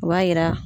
O b'a yira